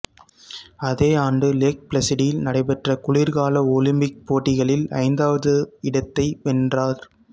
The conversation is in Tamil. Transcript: அதே ஆண்டு லேக் பிளஸிடில் நடைபெற்ற குளிர்கால ஒலிம்பிக் போட்டிகளில் ஐந்தாவது இடத்தை வென்றார்